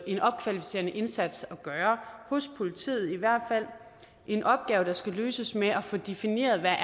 en opkvalificerende indsats at gøre hos politiet i hvert fald en opgave der skal løses med at få defineret hvad